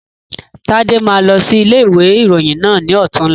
Tade máa lọ sí ilé ìwé ìròyìn náà ni ọ̀tunla